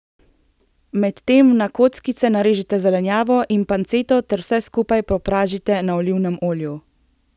Med tem na kockice narežite zelenjavo in panceto ter vse skupaj popražite na olivnem olju.